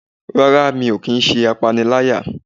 rara, mí o kí n se apáníláyá.